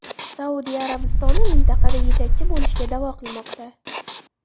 Saudiya Arabistoni mintaqada yetakchi bo‘lishga da’vo qilmoqda.